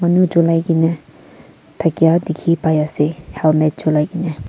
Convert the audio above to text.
manu cholai kaena thakya dikhipaiase helmet cholai Kawna.